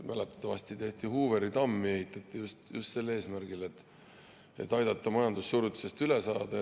Mäletatavasti ehitati Hooveri tamm just sel eesmärgil, et aidata majandussurutisest üle saada.